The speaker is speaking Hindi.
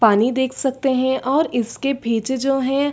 पानी देख सकते है और इसके पीछे जो हैं।